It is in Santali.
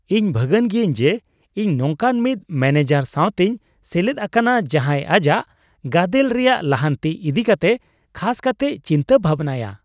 ᱤᱧ ᱵᱷᱟᱹᱜᱟᱱ ᱜᱤᱭᱟᱹᱧ ᱡᱮ ᱤᱧ ᱱᱚᱝᱠᱟᱱ ᱢᱤᱫ ᱢᱚᱱᱮᱡᱟᱨ ᱥᱟᱶᱛᱮᱧ ᱥᱮᱞᱮᱫ ᱟᱠᱟᱱᱟ ᱡᱟᱦᱟᱸᱭ ᱟᱡᱟᱜ ᱜᱟᱫᱮᱞ ᱨᱮᱭᱟᱜ ᱞᱟᱦᱟᱱᱛᱤ ᱤᱫᱤ ᱠᱟᱛᱮ ᱠᱷᱟᱥ ᱠᱟᱛᱮᱭ ᱪᱤᱱᱛᱟᱹ ᱵᱷᱟᱵᱱᱟᱭᱟ ᱾